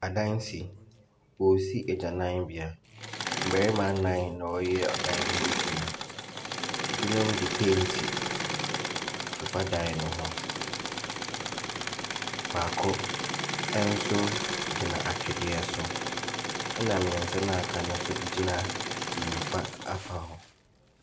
Adansi, woosi egyananbea. Bɛrema nan na wɔreyɛ ɛdan no ho edwuma. Ebi nom de penti fefaa daen ne ho. Baako ɛnso gyina atwedeɛ so ɛna miɛnsa na aka no so gyina nifa afa hɔ.